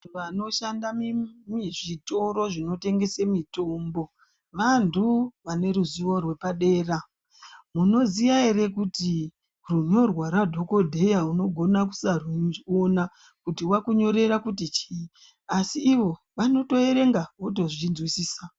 Vanoshanda muzvitoro zvinotengesa mitombo vantu vane ruzivo rwepadera munoziva here kuti runyorwa radhokodheya unogona kusaona kuti rakuyorers kuti chinyi asi unotoona vanotoerenga votozvinswisisa.